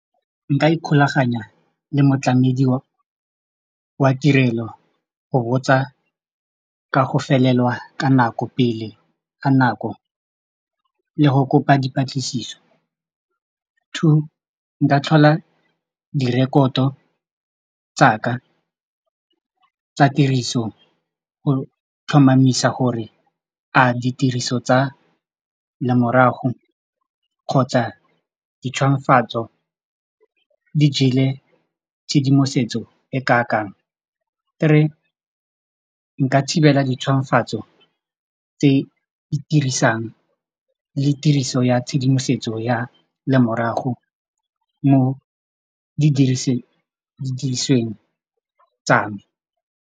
Nka ikgolaganya le motlamedi wa tirelo go botsa ka go felelwa ka nako pele ga nako le go kopa dipatlisiso. Two, nka tlhola direkoto tsa ka tsa tiriso go tlhomamisa gore a ditiriso tsa lemorago kgotsa di jele tshedimosetso e ka kang. Three, nka thibela tse di dirisang le tiriso ya tshedimosetso ya lemorago mo didirisiweng tsa me.